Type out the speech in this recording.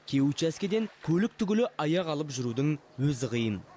кей учаскеден көлік түгілі аяқ алып жүрудің өзі қиын